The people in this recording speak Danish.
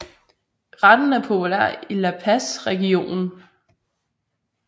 Retten er populær i La Paz regionen